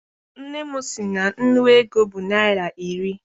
Nne m sị na nnu ego bụ naịra iri.